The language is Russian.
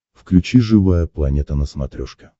включи живая планета на смотрешке